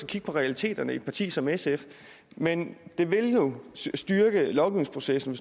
kigge på realiteterne i et parti som sf men det ville jo styrke lovgivningsprocessen